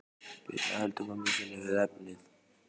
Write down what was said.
Birna heldur mömmu sinni við efnið.